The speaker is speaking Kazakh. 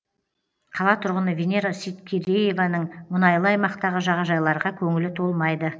қала тұрғыны венера сейткерееваның мұнайлы аймақтағы жағажайларға көңілі толмайды